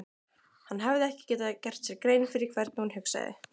Hann hafði ekki gert sér grein fyrir hvernig hún hugsaði.